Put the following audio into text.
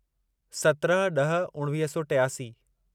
सत्रहं ड॒ह उणिवीह सौ टियासी